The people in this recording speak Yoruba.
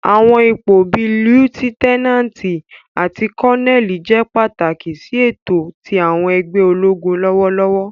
Àwọn ipo bii Liutenanti ati Koneli jẹ pataki si eto ti àwọn ẹgbẹ ologun lọwọlọwọ.